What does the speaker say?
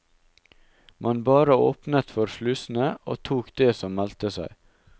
Man bare åpnet for slusene og tok det som meldte seg.